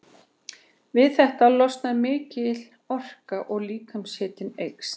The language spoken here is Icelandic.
Við þetta losnar mikil orka og líkamshitinn eykst.